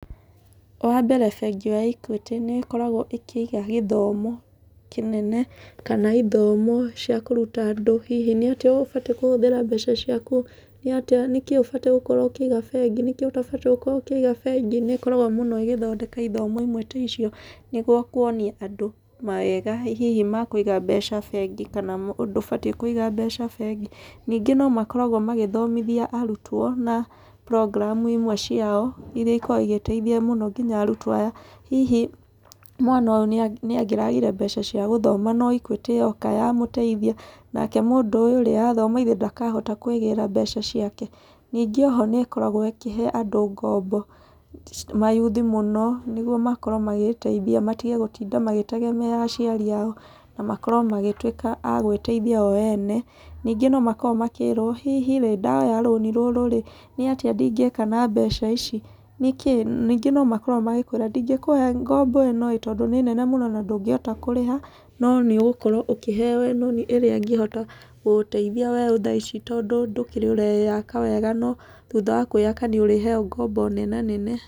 Wa mbere bengi ya Equity nĩĩkoragwo ĩkĩiga gĩthomo kĩnene kana ithomo cia kũruta andũ. Hihi nĩ atĩa ũbatiĩ kũhũthĩra mbeca ciaku? Nĩkĩĩ ũbatiĩ gukorwo ũkĩiga bengi? Nĩkĩĩ ũtabatiĩ gukorwo ũkĩiga bengi? Nĩĩkoragwo mũno ĩgĩthondeka ithomo imwe ta icio nĩguo kũonia andũ mawega hihi ma kũiga mbeca bengi, kana ndũbatiĩ kũiga mbeca bengi. Ningĩ nomakoragwo magĩthomothia arutwo na program imwe ciao iria ikoragwo igĩteithia nginya arutwo aya. Hihi mwana ũyũ nĩangĩragire mbeca cia gũthoma no Equity yoka yamũteithia, nake mũndũ ũyũ rĩ, athoma githĩ ndakahota kwĩgĩra mbeca ciake? Ningĩ oho nĩĩkoragwo ĩkĩhe andũ ngombo, mayuthi mũno nĩguo makorwo magĩteithia matige gũtinda magĩtegemea aciari ao, na makorwo magĩtwĩka a gwĩteithia o ene. Ningĩ nomakoragwo makĩrwo hihi rĩ, ndoya rũni rũrũ rĩ, nĩ atĩa ndingĩka na mbeca ici? Ningĩ nomakoragwo magĩkwĩra ndingĩkũhe ngombo ĩno ĩĩ, tondũ nĩ nene mũno na ndũngĩhota kũrĩha, no nĩũgũkorwo ũkĩheo ĩno ĩrĩa ĩngĩhota gũgũteithia weũ thaa ici tondũ ndũkĩrĩ ũreyaka wega no thutha wa kwĩyaka nĩũrĩheo ngombo nenanene.